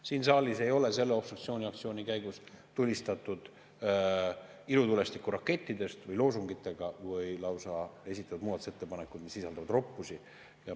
Siin saalis ei ole selle obstruktsiooniaktsiooni käigus tulistatud ilutulestikurakette või loosungeid või esitatud muudatusettepanekuid, mis sisaldavad lausa roppusi.